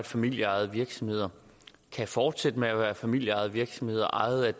familieejede virksomheder kan fortsætte med at være familieejede virksomheder ejet